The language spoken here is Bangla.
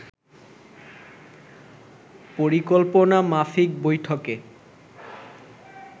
পরিকল্পনামাফিক বৈঠকে